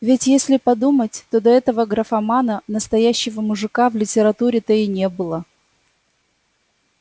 ведь если подумать то до этого графомана настоящего мужика в литературе-то и не было